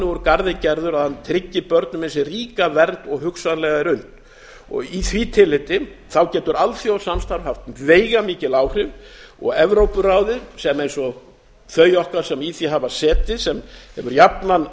úr garði gerður að hann tryggi börnum eins ríka vernd og hugsanlega er unnt í því tilliti getur alþjóðasamstarf haft veigamikil áhrif og evrópuráðið sem eins og þau okkar sem í því hafa setið sem hefur jafnan